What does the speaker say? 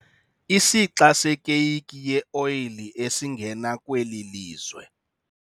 Isixa sekeyiki yeoyile esingena kweli lizwe